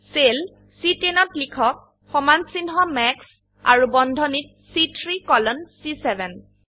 cell C10ত লিখক সমানচিহ্ন মাস আৰু বন্ধনীত চি3 কোলন চি7